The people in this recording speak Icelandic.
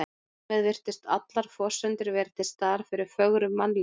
Þar með virtust allar forsendur vera til staðar fyrir fögru mannlífi.